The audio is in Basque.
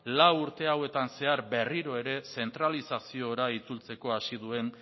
lau urte hauetan zehar berriro ere zentralizaziora itzultzeko hasi duen